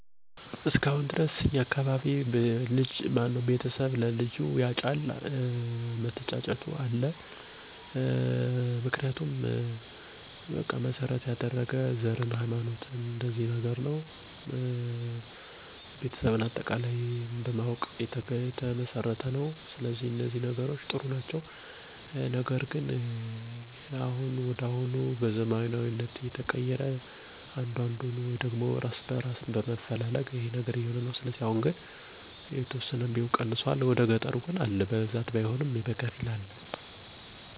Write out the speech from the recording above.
በእኛ አካባቢ በተለይ በገጠሩ አሁንም ድረስ የወንድ ቤተሰቦች ለልጆቻቸው ሚስት የሚያጩት ወላጆች ናቸው። በእርግጥ አሁን አሁን በቤተሰብ የሚደረገው የማጨት ሁኔታ ፍሬ ሳያፈራ ቀርቶ ይታያል። ይሁን እንጂ ወላጆች ለልጆቻቸው ሚስት የምትሆነውን ልጅ ሲያጩ የቤሰቧን አጠቃላይ ሁኔታ ተመልክተው ነው። ለምሳሌ ቤተሰቧ በአካባቢው የተከበሩ መሆናቸውን፣ ያላቸውን የሀብት ሁኔታ፣ የሀይማኖታቸውን ነገር፣ ከአካባቢው ማህበረሰብ ጋር ደም ያልተቃቡ መሆናቸውን እና የመሳሰሉትን ነገሮች በደንብ ይመለከታሉ። ይህ ባህል በገጠሩ አካባቢያችን ዛሬም ድረስ ያለ መሆኑ ይገርመኛል።